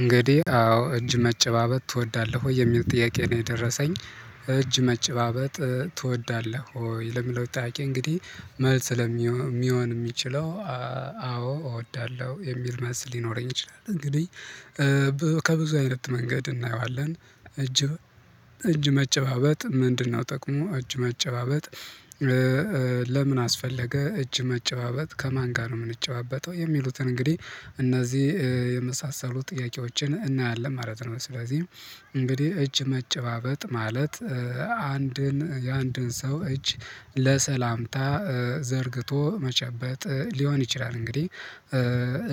እንግዲህ አዎ እጅ መጨባበጥ ትወዳለህ ወይ የሚል ጥያቄ ነው የደረሰኝ እጅ መጨባበጥ ትወዳለህ ወይ ለሚለው ጥያቄ እንግዲህ መልስ ሊሆን እሚችለው አዎ እወዳለሁ የሚል መልስ ሊኖረኝ ይችላል። እንግዲህ ከብዙ አይነት መንገድ እናየዋለን እጅ እጅ መጨባበጥ ምንድነው ጥቅሙ እጅ መጨባበጥ? ለምን አስፈለገ እጅ መጨባበጥ ከማን ጋር ነው እምንጨባበጠው የሚሉትን እንግዲህ እነዚህ የመሳሰሉ ጥያቄዎችን እናያለን ማለት ነው። ስለዚህ እንግዲህ እጅ መጨባበጥ ማለት አንድን የአንድን ሰው እጅ ለሰላምታ ዘርግቶ መጨበጥ ሊሆን ይችላል። እንግዲህ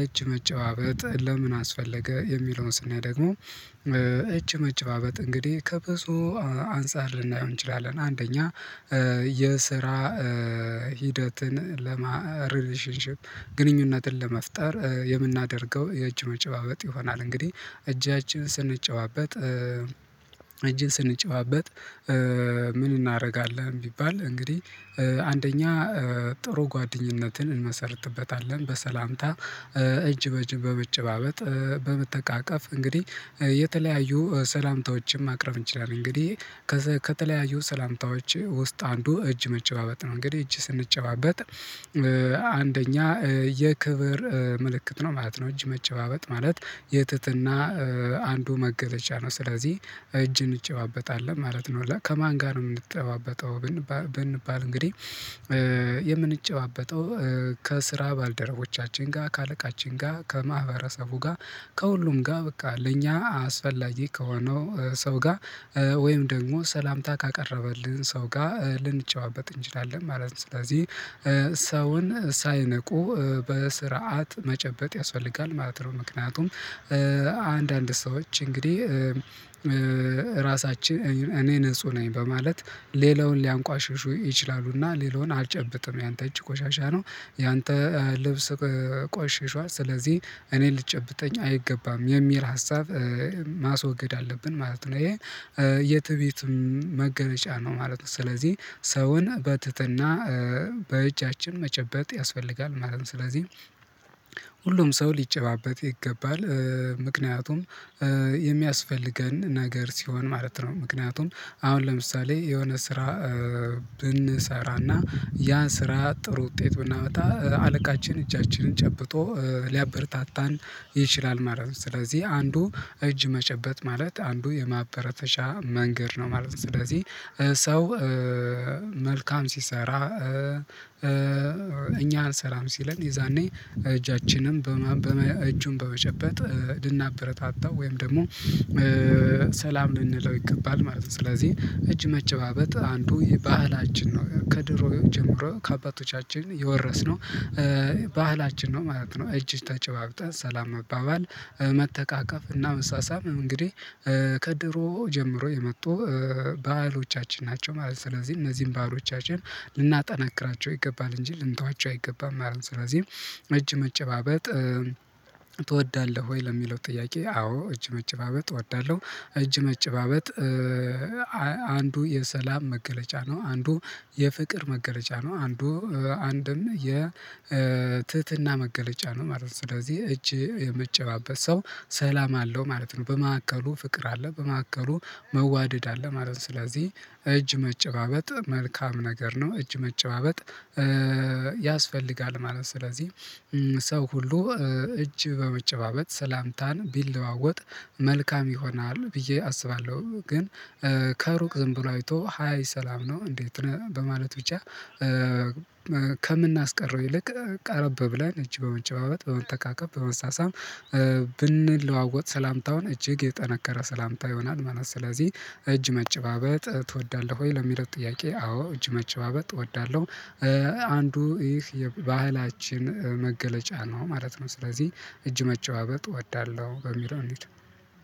እጅ መጨባበጥ ለምን አስፈለገ የሚለውን ስናይ ደግሞ እጅ መጨባበጥ እንግዲህ ከብዙ አንፃር ልናየው እንችላለን አንደኛ የስራ ሂደትን ለማ ሪሌሽንሺፕ ግንኙነትን ለመፍጠር የምናደርገው የእጅ መጨባበጥ ይሆናል። እንግዲህ እጃችን ስንጨባበት እጅን ስንጨባበጥ ምን እናረጋለን ቢባል እንግዲህ አንደኛ ጥሩ ጓደኝነትን እንመሰርትበታለን በሰላምታ እጅ በጅ በመጨባበጥ በመተቃቀፍ እንግዲህ የተለያዩ ሰላምታዎችን ማቅረብ እንችላለን እንግዲህ ከተለያዩ ሰላምታዎች ውስጥ አንዱ እጅ መጨባበጥ ነው። እንግዲህ እጅ ስንጨባበጥ አንደኛ የክብር ምልክት ነው ማለት ነው እጅ መጨባበጥ ማለት የትህትና አንዱ መገለጫ ነው ስለዚህ እጅን እንጨባበጣለን ማለት ነው። ከማን ጋር ነው እምንጨባበጠው ብንባል እንግዲህ የምንጨባበጠው ከስራ ባልደረቦቻችን ጋ ከአለቃችን ጋ ከማህበረሰቡ ጋ ከሁሉም ጋ በቃ ለእኛ አስፈላጊ ከሆነው ሰው ጋ ወይም ደግሞ ሰላምታ ካቀረበልን ሰው ጋ ልንጨባበጥ እንችላለን ማለት ነው። ስለዚህ ሰውን ሳይነቁ በስርዓት መጨበጥ ያስፈልጋል ማለት ነው። ምክንያቱም አንዳንድ ሰዎች እንግዲህ ራሳችን እኔ ንጹህ ነኝ በማለት ሌላውን ሊያንቋሽሹ ይችላሉና ሌላውን አልጨብጥም ያንተ እጅ ቆሻሻ ነው ያንተ ልብስ ቆሽሿል ስለዚህ እኔ ልጨብጠኝ አይገባም የሚል ሀሳብ ማስወገድ አለብን ማለት ነው። ይሄን የትዕቢትም መገለጫ ነው ማለት ነው ስለዚህ ሰውን በትህትና በእጃችን መጨበጥ ያስፈልጋል ማለት ነው። ስለዚህ ሁሉም ሰው ሊጨባበጥ ይገባል ምክንያቱም የሚያስፈልገን ነገር ሲሆን ማለት ነው። ምክንያቱም አሁን ለምሳሌ የሆነ ስራ ብንሰራና ያ ስራ ጥሩ ውጤት ብናመጣ አለቃችን እጃችንን ጨብጦ ሊያበረታታን ይችላል ማለት ነው። ስለዚህ አንዱ እጅ መጨበጥ ማለት አንዱ የማበረታቻ መንገድ ነው ማለት ነው። ስለዚህ ሰው መልካም ሲሰራ እኛ ሰላም ሲለን የዛኔ እጃችንን እጁን በመጨበጥ ልናበረታታው ወይም ደግሞ ሰላም ልንለው ይገባል ማለት ነው። ስለዚህ እጅ መጨባበጥ አንዱ የባህላችን ነው ከድሮ ጀምሮ ከአባቶቻችን የወረስነው ባህላችን ነው ማለት ነው። እጅግ ተጨባብጠን ሰላም መባባል መተቃቀፍ እና መሳሳም እንግዲህ ከድሮ ጀምሮ የመጡ ባህሎቻችን ናቸው ማለት ነው። ስለዚህ እነዚህን ባህሎቻችን ልናጠናክራቸው ይገባል እንጂ ልንተዋቸው አይገባም ማለት ነው። ስለዚህ እጅ መጨባበጥ ትወዳለህ ወይ? ለሚለው ጥያቄ አዎ እጅ መጨባበጥ እወዳለሁ። እጅ መጨባበጥ አንዱ የሰላም መገለጫ ነው አንዱ የፍቅር መገለጫ ነው አንዱ አንድም የ ትህትና መገለጫ ነው ማለት ነው። ስለዚህ እጅ እሚጨባበጥ ሰው ሰላም አለው ማለት ነው በመሃከሉ ፍቅር አለ በመሃከሉ መዋደድ አለ ማለት ነው። ስለዚህ እጅ መጨባበጥ መልካም ነገር ነው እጅ መጨባበጥ ያስፈልጋል ማለት ነው። ስለዚህ ሰው ሁሉ እጅ በመጨባበጥ ሰላምታን ቢለዋወጥ መልካም ይሆናል ብዬ አስባለሁ። ግን ከሩቅ ዝም ብሎ አይቶ ሃይ ሰላም ነው እንዴት ነህ በማለት ብቻ ከምናስቀረው ይልቅ ቀረብ ብለን እጅ በመጨባበጥ በመተቃቀፍ በመሳሳም ብንለዋወጥ ሰላምታውን እጅግ የጠነከረ ሰላምታ ይሆናል ማለት ነው። ስለዚህ እጅ መጨባበጥ ትወዳለህ ወይ? ለሚለው ጥያቄ አዎ እጅ መጨባበጥ እወዳለሁ። አንዱ ይህ የባህላችን መገለጫ ነው ማለት ነው። ስለዚህ እጅ መጨባበጥ እወዳለሁ በሚለው እንሂድ